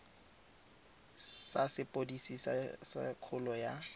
sa sepodisi sa kgololo ya